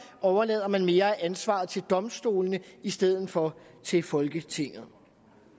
overlader mere af ansvaret til domstolene i stedet for til folketinget